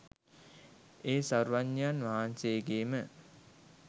ඒ සර්වඥයන් වහන්සේ ගේ ම